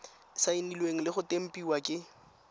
saenilwe le go tempiwa ke